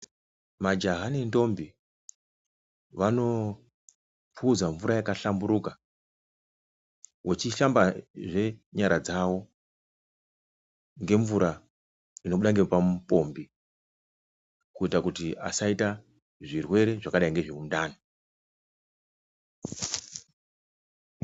Majaya nendombie wanopuza mvura yakahlamburuka vachishambazve nyara dzawo nemvura inobuda pamupombi kuita kuti asita zvirwere zvakadai nezvemundani.